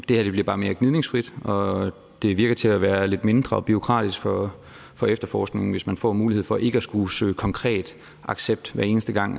det her bliver bare mere gnidningsfrit og det virker til at være lidt mindre bureaukratisk for for efterforskningen hvis man får mulighed for ikke at skulle søge konkret accept hver eneste gang